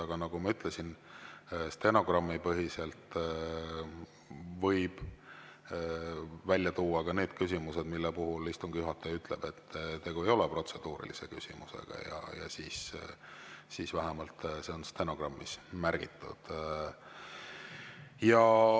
Aga nagu ma ütlesin, stenogrammi põhjal võib välja tuua ka need küsimused, mille puhul istungi juhataja ütleb, et tegu ei ole protseduurilise küsimusega, ja see on vähemalt stenogrammis märgitud.